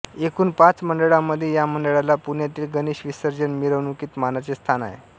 एकूण पाच मंडळांमध्ये या मंडळाला पुण्यातील गणेश विसर्जन मिरवणुकीत मानाचे स्थान आहे